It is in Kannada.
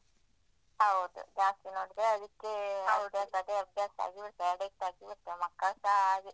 ಹೌದು ಜಾಸ್ತಿ ನೋಡಿದ್ರೆ ಅದಕ್ಕೆ ಅದೇ ಅಭ್ಯಾಸ ಆಗಿಬಿಡ್ಥದೇ ಅಡಿಕ್ಟ್ ಆಗಿಬಿಡ್ಥದೇ ಮಕ್ಕಳ ಹಾಗೆ.